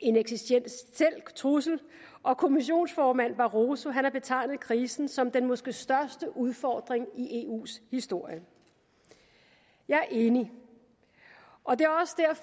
en eksistentiel trussel og kommissionsformand barroso har betegnet krisen som den måske største udfordring i eus historie jeg er enig og det